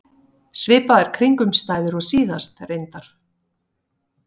Svipaðar kringumstæður og síðast, reyndar.